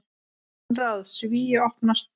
Konráð: Svíi opnast.